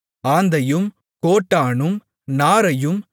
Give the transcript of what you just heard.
ஆந்தையும் கோட்டானும் நாரையும்